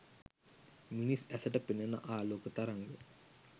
මිනිස් ඇසට පෙනෙන ආලෝක තරංග